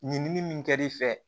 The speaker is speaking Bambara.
Ɲinini min kɛl'i fɛ